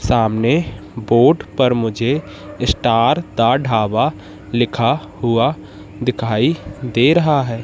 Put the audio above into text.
सामने बोर्ड पर मुझे स्टार दा ढाबा लिखा हुआ दिखाई दे रहा है।